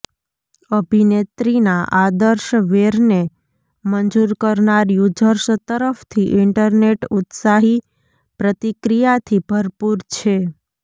અભિનેત્રીના આદર્શ વેરને મંજૂર કરનાર યુઝર્સ તરફથી ઈન્ટરનેટ ઉત્સાહી પ્રતિક્રિયાથી ભરપૂર છે